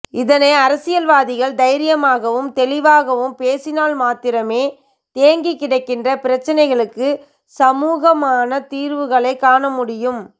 இதனை அரசியல்வாதிகள் தைரியமாகவும் தெளிவாகப் பேசினால் மாத்திரமே தேங்கிக் கிடக்கின்ற பிரச்சினைகளுக்கு சமூகமான தீர்வுகளைக் காணமுடியும்